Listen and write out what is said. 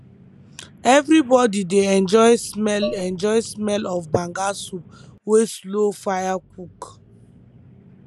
everybody dey enjoy smell enjoy smell of banga soup wey slow fire cook